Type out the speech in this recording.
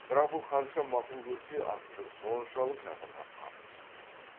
бірақ бұл қанша мақұл көрсе асылбек соншалық жатырқап қарсы шықты